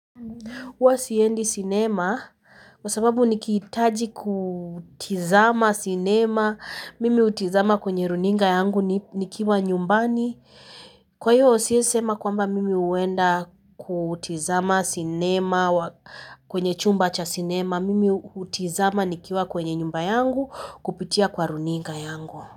Huwa siendi sinema, sababu nikihitaji kutazama sinema, mimi hutazama kwenye runinga yangu nikiwa nyumbani. Kwa hiyo siwezi kusema kwamba mimi huenda kutazama sinema kwenye chumba cha sinema, mimi hutazama nikiwa kwenye nyumba yangu kupitia kwenye runinga yangu.